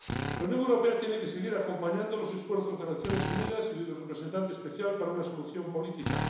La Unión Europea tiene que seguir acompañando los esfuerzos de Naciones Unidas y del representante especial para una solución política.